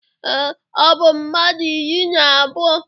Ee, ọ bụ mmadụ iri na abụọ.